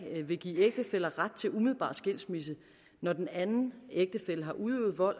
vil give ægtefæller ret til umiddelbar skilsmisse når den anden ægtefælle har udøvet vold